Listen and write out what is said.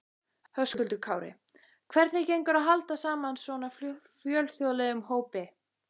Höskuldur Kári: Hvernig gengur að halda saman svona fjölþjóðlegum hópi?